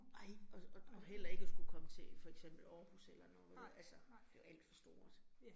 Nej, og og og heller ikke at skulle komme til for eksempel Aarhus eller noget altså. Det jo alt for stort